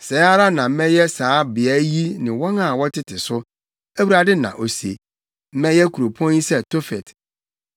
Sɛɛ ara na mɛyɛ saa beae yi ne wɔn a wɔtete so, Awurade na ose. Mɛyɛ kuropɔn yi sɛ Tofet.